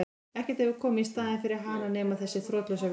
Ekkert hefur komið í staðinn fyrir hana nema þessi þrotlausa vinna.